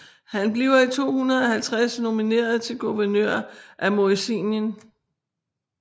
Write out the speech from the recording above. Han bliver i 250 nomineret til guvernør af Moesien